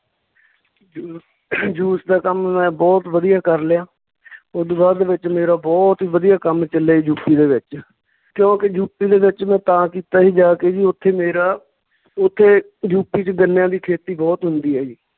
ਜੂ juice ਦਾ ਕੰਮ ਮੈਂ ਬਹੁਤ ਵਧੀਆ ਕਰ ਲਿਆ ਓਦੂ ਬਾਅਦ ਦੇ ਵਿੱਚ ਮੇਰਾ ਬਹੁਤ ਹੀ ਵਧੀਆ ਕੰਮ ਚੱਲਿਆ ਯੂਪੀ ਦੇ ਵਿੱਚ, ਕਿਉਂਕਿ ਯੂਪੀ ਦੇ ਵਿੱਚ ਮੈਂ ਤਾਂ ਕੀਤਾ ਜੀ ਜਾ ਕੇ ਜੀ ਉੱਥੇ ਮੇਰਾ ਉੱਥੇ ਯੂਪੀ ਚ ਗੰਨਿਆਂ ਦੀ ਖੇਤੀ ਬਹੁਤ ਹੁੰਦੀ ਆ ਜੀ